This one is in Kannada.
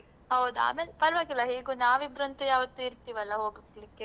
ಹೌದು ಆಮೇಲ್ ಪರ್ವಾಗಿಲ್ಲ ಹೇಗೂ ನಾವಿಬ್ರಂತು ಯಾವತ್ತೂ ಇರ್ತೇವಲ್ಲ ಹೋಗ್ಲಿಕ್ಕೆ.